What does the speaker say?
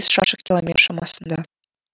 шаршы километр шамасында